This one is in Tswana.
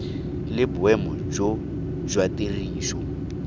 le boemo jo jwa tiriso